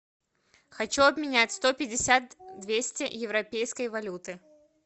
хочу обменять сто пятьдесят двести европейской валюты